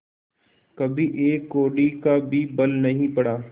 कभी एक कौड़ी का भी बल नहीं पड़ा